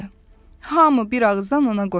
Hamı bir ağızdan ona qoşuldu.